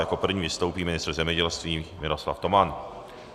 Jako první vystoupí ministr zemědělství Miroslav Toman.